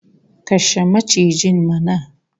Kashe macijin mana!